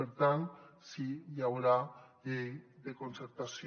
per tant sí hi haurà llei de concertació